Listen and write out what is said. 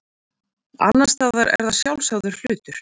annars staðar er það sjálfsagður hlutur